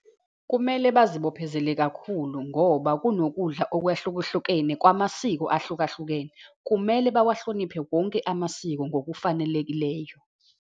Kumele bazibophezele kakhulu, ngoba kunokudla okwehlukahlukene kwamasiko ahlukahlukene. Kumele bawahloniphe wonke amasiko ngokufanelekileyo.